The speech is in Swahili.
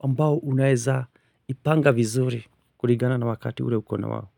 ambao unaeza ipanga vizuri. Kulingana na wakati ule uko nawao.